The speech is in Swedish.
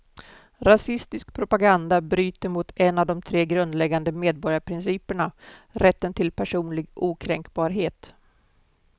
Rasistisk propaganda bryter mot en av de tre grundläggande medborgarprinciperna, rätten till personlig okränkbarhet.